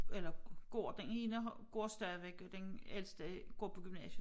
Eller går den ene har går stadigvæk den ældste går på gymnasiet